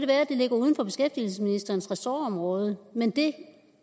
at det ligger uden for beskæftigelsesministerens ressortområde men det